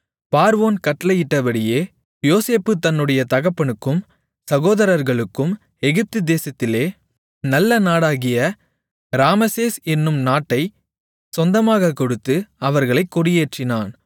பார்வோன் கட்டளையிட்டபடியே யோசேப்பு தன்னுடைய தகப்பனுக்கும் சகோதரர்களுக்கும் எகிப்துதேசத்திலே நல்ல நாடாகிய ராமசேஸ் என்னும் நாட்டைச் சொந்தமாகக் கொடுத்து அவர்களைக் குடியேற்றினான்